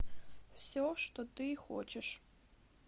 все что ты хочешь